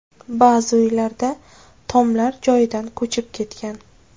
Ba’zi uylarda tomlar joyidan ko‘chib ketgan.